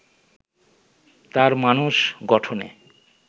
তাঁর মানস গঠনে